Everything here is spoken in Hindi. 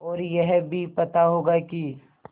और यह भी पता होगा कि